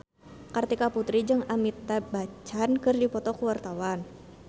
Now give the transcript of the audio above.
Kartika Putri jeung Amitabh Bachchan keur dipoto ku wartawan